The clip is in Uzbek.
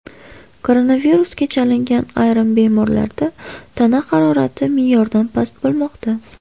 Koronavirusga chalingan ayrim bemorlarda tana harorati me’yordan past bo‘lmoqda.